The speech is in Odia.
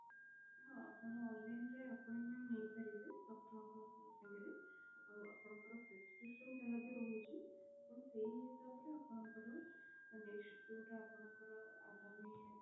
ହଁ ଆପଣ online ରେ appointment ନେଇ ପାରିବେ doctor ଙ୍କ ସାଙ୍ଗରେ ଆଉ ଆପଣଙ୍କର prescription ଯାହାବି ରହୁଛି ଆପଣ ସେଇ ହିସାବରେ ଆପଣଙ୍କର next ଯୋଉଟା ଆପଣଙ୍କର ଆଗାମୀ